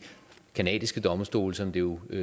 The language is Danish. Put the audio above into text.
canadiske domstole som det jo er